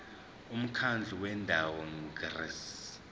umkhandlu wendawo ngerss